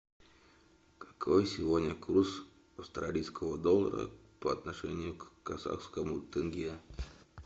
какой сегодня курс австралийского доллара по отношению к казахскому тенге